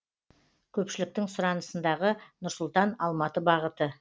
көпшіліктің сұранысындағы нұр сұлтан алматы бағыты